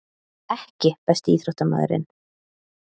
EKKI besti íþróttamaðurinn?